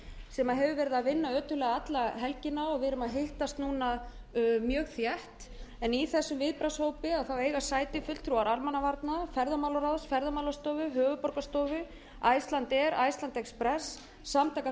sem hefur verið að vinna ötullega alla helgina og við auk að hittast núna mjög þétt í þessum viðbragðshópi eiga sæti fulltrúar almannavarna ferðamálaráðaráðs ferðamálastofu höfuðborgarstofu icelandair icelandexpress samtaka